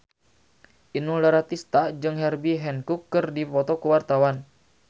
Inul Daratista jeung Herbie Hancock keur dipoto ku wartawan